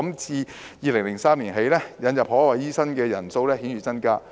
自2003年起，引入海外醫生的人數顯著增加。